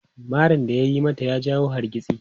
Marin da ya yi mata ya jawo hargitsi.